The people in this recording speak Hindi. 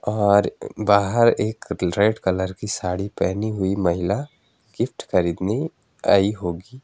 और बाहर एक रेड कलर की साड़ी पहनी हुई महिला गिफ्ट खरीदनी आई होगी।